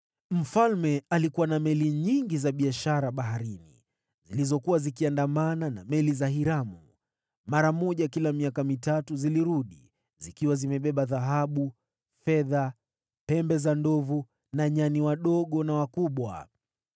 Mfalme alikuwa na meli nyingi za biashara baharini zilizoendeshwa na watu wa Hiramu. Kwa mara moja kila miaka mitatu zilirudi, zikiwa zimebeba dhahabu, fedha, pembe za ndovu na nyani wakubwa na wadogo.